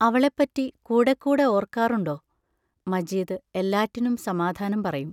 അവളെപ്പറ്റി കൂടെക്കൂടെ ഓർക്കാറുണ്ടോ?- മജീദ് എല്ലാറ്റിനും സമാധാനം പറയും.